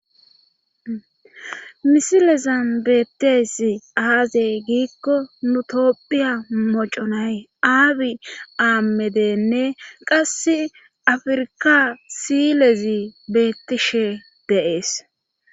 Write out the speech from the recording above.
misilezambeeteesi aazey giikko nu topphiya moconay aabi aamedenne qasse afirka silezi beettishe deees